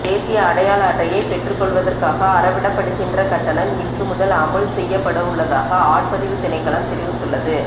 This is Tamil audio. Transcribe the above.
தேசிய அடையாள அட்டையை பெற்றுக்கொள்வதற்காக அறவிடப்படுகின்ற கட்டணம் இன்று முதல் அமுல் செய்யப்பட்டுள்ளதாக ஆட்பதிவுத் திணைக்களம் தெரிவித்துள்ளது